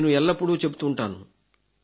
నేను ఎల్లప్పుడూ చెబుతుంటాను